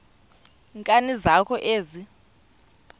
nkani zakho ezi